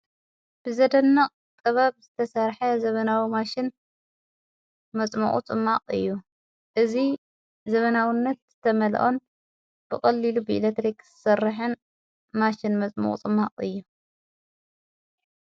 ብዘደነቕ ጥበብ ዝተሠርሐ ዘብናዊ ማሽን መጽምዑ ጽማቕ እዩ እዙይ ዘበናውነት ዝተመልኦን ብቀሊሉ ብኢለትሪኽ ዝሠርሕን ማሽን መጽምቑ ጽማቕ እዩ።